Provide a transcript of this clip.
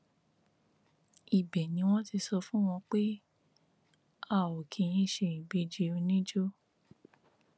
ibẹ ni wọn ti sọ fún wọn pé a ò kì í ṣe ìbejì oníjó